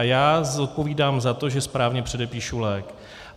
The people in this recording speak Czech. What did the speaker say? A já zodpovídám za to, že správně předepíšu lék.